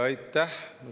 Aitäh!